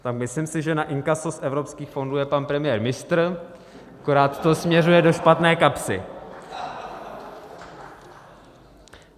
- Tak myslím si, že na inkaso z evropských fondů je pan premiér mistr, akorát to směřuje do špatné kapsy.